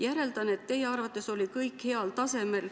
Järeldan, et teie arvates oli kõik heal tasemel.